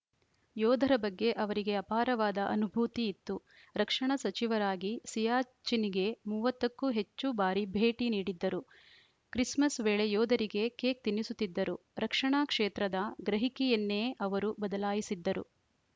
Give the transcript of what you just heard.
ಯೋಧರ ಬಗ್ಗೆ ಅವರಿಗೆ ಅಪಾರವಾದ ಅನುಭೂತಿ ಇತ್ತು ರಕ್ಷಣಾ ಸಚಿವರಾಗಿ ಸಿಯಾಚಿನ್‌ಗೆ ಮೂವತ್ತ ಕ್ಕೂ ಹೆಚ್ಚು ಬಾರಿ ಭೇಟಿ ನೀಡಿದ್ದರು ಕ್ರಿಸ್‌ಮಸ್‌ ವೇಳೆ ಯೋಧರಿಗೆ ಕೇಕ್‌ ತಿನ್ನಿಸುತ್ತಿದ್ದರು ರಕ್ಷಣಾ ಕ್ಷೇತ್ರದ ಗ್ರಹಿಕೆಯನ್ನೇ ಅವರು ಬದಲಾಯಿಸಿದ್ದರು